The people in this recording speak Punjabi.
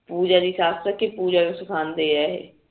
ਪੂਜਾ ਦੀ ਸੱਸ ਕੇ ਪੂਜਾ ਨੂੰ ਸਿਖਾਂਦੇ ਆ